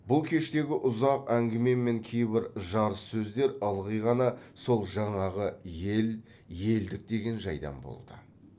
бұл кештегі ұзақ әңгіме мен кейбір жарыссөздер ылғи ғана сол жаңағы ел елдік деген жайдан болды